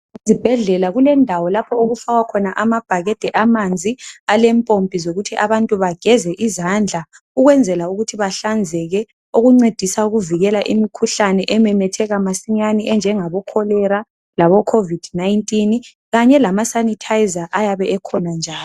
Ezibhedlela kulendawo lapho okufakwa khona amabhakede amanzi alempompi zokuthi abantu bageze izandla ukwenzela ukuthi bahlanzeke okuncedisa ukuvukela imikhuhlane ememetheka masinyane enjengabo cholera labo covid-19 kanye lama sanitizer ayabe ekhona njalo.